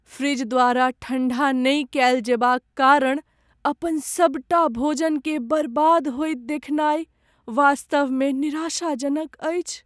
Fridge द्वारा ठण्डा नहि कएल जएबाक कारण अपन सबटा भोजनकेँ बर्बाद होइत देखनाइ वास्तवमे निराशाजनक अछि।